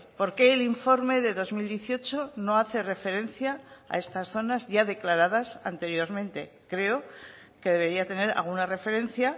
por qué el informe de dos mil dieciocho no hace referencia a estas zonas ya declaradas anteriormente creo que debería tener alguna referencia